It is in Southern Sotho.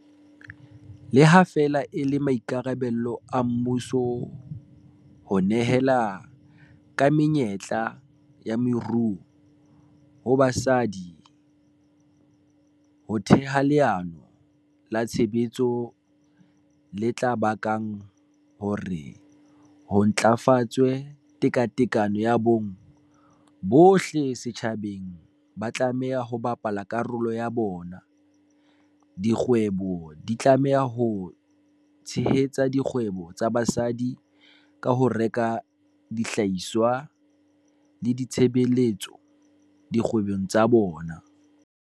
Le ha feela e le maikarabelo a mmuso ho nehela ka menyetla ya moruo ho basadi ho theha leano la tshebetso le tla bakang hore ho ntlafatswe tekatekano ya bong, bohle setjhabeng ba tlameha ho bapala karolo ya bona. Dikgwebo di tlameha ho tshehetsa dikgwebo tsa basadi ka ho reka dihlahiswa le ditshebeletso dikgwebong tsa bona.